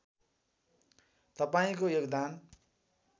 तपाईँको योगदान